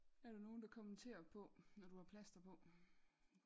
Er der nogen der kommenterer på når du har plaster på?